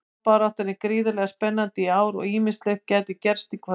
Toppbaráttan er gríðarlega spennandi í ár og ýmislegt gæti gerst í kvöld.